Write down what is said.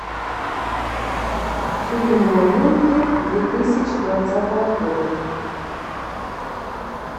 фильмы новинки две тысячи двадцатого года